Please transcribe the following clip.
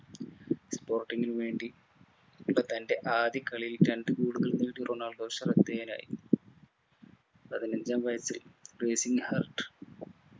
sporting നു വേണ്ടി തന്റെ ആദ്യ കളിയിൽ രണ്ട് goal കൾ നേടി റൊണാൾഡോ ശ്രദ്ധേയനായി. പതിനഞ്ചാം വയസിൽ racing heart